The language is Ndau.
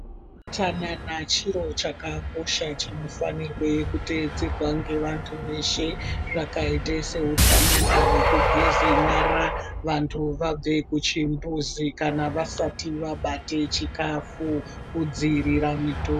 Chanana chiro chakakosha chinofanirwe kuteedzerwa ngevantu Veshe zvakaite seutsanana hwekugeze nyara vantu vabve kuchimbuzi kana vasati vabate chikafu kudziirira muto.